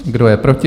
Kdo je proti?